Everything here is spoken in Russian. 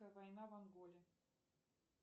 война в анголе